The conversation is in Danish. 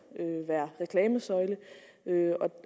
være reklamesøjle